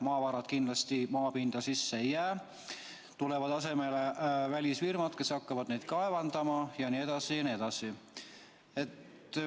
Maavarad kindlasti maapinda sisse ei jää, tulevad asemele välisfirmad, kes hakkavad neid kaevandama jne, jne.